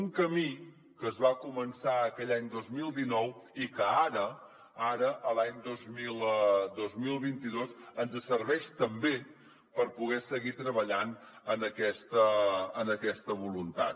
un camí que es va començar aquell any dos mil dinou i que ara l’any dos mil vint dos ens serveix també per poder seguir treballant en aquesta voluntat